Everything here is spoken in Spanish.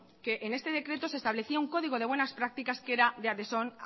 que en este decreto se establecía un código de buenas prácticas que era de